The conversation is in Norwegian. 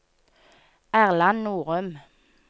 Erland Norum